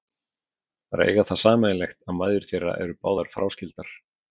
Þær eiga það sameiginlegt að mæður þeirra eru báðar fráskildar.